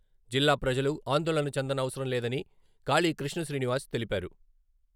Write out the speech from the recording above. జిల్లా ప్రజలు ఆందోళన చెందనవసరం లేదని కాళీ కృష్ణ శ్రీనివాస్ తెలిపారు.